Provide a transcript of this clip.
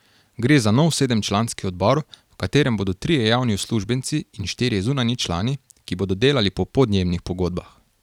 Gre za nov sedemčlanski odbor, v katerem bodo trije javni uslužbenci in štirje zunanji člani, ki bodo delali po podjemnih pogodbah.